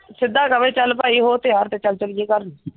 ਸਿਧ ਕਵੇਂ ਚਲ ਭਾਈ ਹੋ ਤਿਆਰ ਤੇ ਚਲ ਚਲੀਏ ਘਰ।